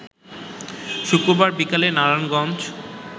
শুক্রবার বিকেলে নারায়ণগঞ্জ